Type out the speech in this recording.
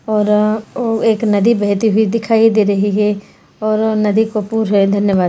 और अ एक नदी बहती हुई दिखाई दे रही है और नदी को पुर है धन्यवाद।